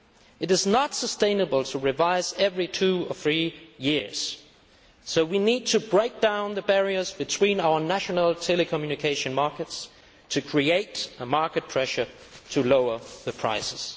It is not sustainable to undertake a revision every two or three years, so we need to break down the barriers between our national telecommunication markets to create market pressure to lower the prices.